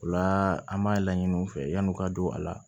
O la an b'a laɲini u fɛ yan'u ka don a la